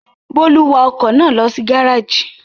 Bólú wa ọkọ̀ náà lọ sí gárájì?